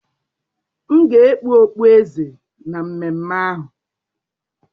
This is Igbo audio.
M ga-ekpu okpueze na mmemme ahụ